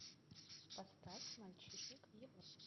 поставь мальчишник в европе